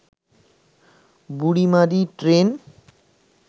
Burimari train